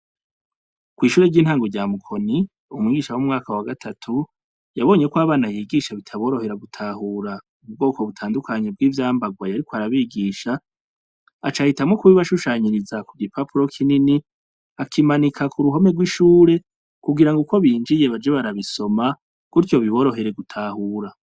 Kw' ishure ry' intango rya Mukoni, umwigisha wo mu mwaka wa gatatu, yabonye ko abana yigisha bitaborohera gutahura ubwo butandukanye vy' imbarwa yariko arabigisha, aca ahitamwo kubibashushaniriza ku gipapuro kinini, akimanika ku ruhome rw'ishure, kubigango ukwo bonjour baze barabisoma, gutyo biborohere gutahura.